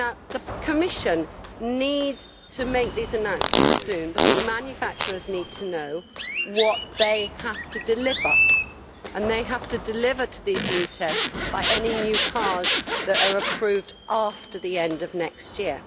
The Commission needs to make these announcements soon, because manufacturers need to know what they have to deliver, and they have to deliver in line with the new tests any new cars that are approved after the end of next year.